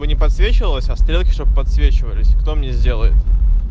не подсвечивалась а стрелки чтобы подсвечивались кто мне сделает